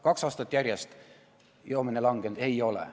Kaks aastat järjest joomine vähenenud ei ole.